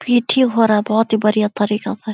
PT. हो रहा बोहोत ही बढ़िया तरीका से --